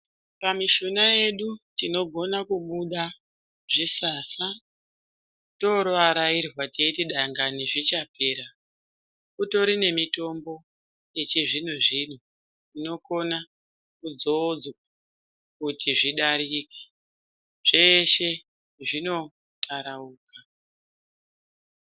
Pamishuna yedu tinogona kubuda zvisasa torotooarairwa teiti dangani zvichapera. Kutori nemitombo yechizvino-zvino inokona kudzodzwa kuti zvidarike. Zveshe zvinotarauka.